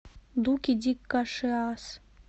дуки ди кашиас